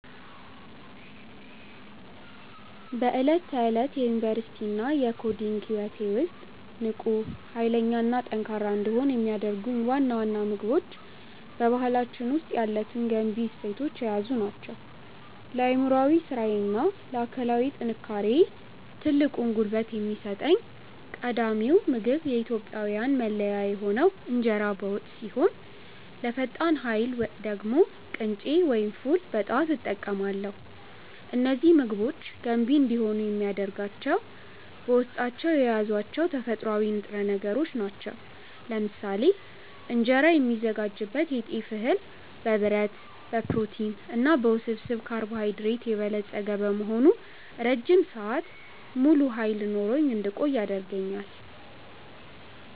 በዕለት ተዕለት የዩኒቨርሲቲ እና የኮዲንግ ህይወቴ ውስጥ ንቁ፣ ኃይለኛ እና ጠንካራ እንድሆን የሚያደርጉኝ ዋና ዋና ምግቦች በባህላችን ውስጥ ያሉትን ገንቢ እሴቶች የያዙ ናቸው። ለአእምሯዊ ስራዬ እና ለአካላዊ ጥንካሬዬ ትልቁን ጉልበት የሚሰጠኝ ቀዳሚው ምግብ የኢትዮጵያዊያን መለያ የሆነው እንጀራ በወጥ ሲሆን፣ ለፈጣን ኃይል ደግሞ ቅንጬ ወይም ፉል በጠዋት እጠቀማለሁ። እነዚህ ምግቦች ገንቢ እንዲሆኑ የሚያደርጋቸው በውስጣቸው የያዟቸው ተፈጥሯዊ ንጥረ ነገሮች ናቸው። ለምሳሌ እንጀራ የሚዘጋጅበት የጤፍ እህል በብረት፣ በፕሮቲን እና በውስብስብ ካርቦሃይድሬት የበለጸገ በመሆኑ ረጅም ሰዓት ሙሉ ኃይል ኖሮኝ እንድቆይ ያደርገኛል።